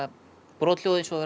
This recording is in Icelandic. brothljóð eins og það